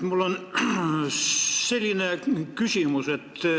Mul on selline küsimus.